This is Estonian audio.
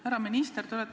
Härra minister!